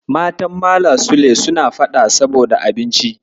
Matan Malam Sule suna faɗa saboda abinci.